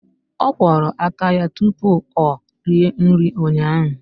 Ọ kwọrọ aka ya tupu ọ rie nri ụnyaahụ.